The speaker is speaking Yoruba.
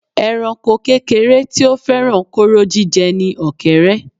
Ẹranko kékeré tí ó fẹ́ràn kóró jíjẹ ni ọ̀kẹ́érẹ́